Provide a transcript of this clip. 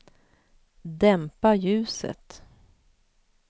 dämpa ljuset